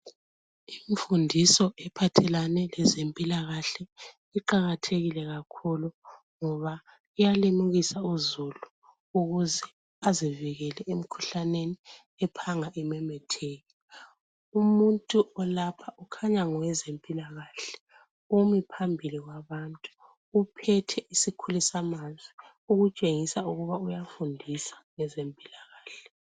Imfundiso ephathelane lezempilakahle iqakathekile kakhulu ngoba iyalimukisa uzulu ukuze azivikele emkhuhlaneni ephanga imemetheke. Umuntu olapha, ukhanya ngowezempilakahle, umi phambili kwabantu uphethe isikhulisamazwi ukutshengisa ukuba uyafundisa ngezempilakahle.